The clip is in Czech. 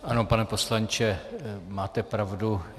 Ano, pane poslanče, máte pravdu.